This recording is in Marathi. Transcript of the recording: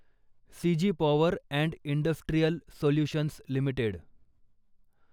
CG Power and Industrial Solutions limited